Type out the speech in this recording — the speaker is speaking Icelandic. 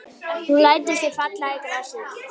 Hún lætur sig falla í grasið.